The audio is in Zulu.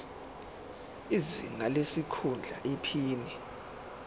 izinga lesikhundla iphini